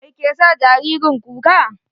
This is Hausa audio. Mai ke sa jaririn kuka?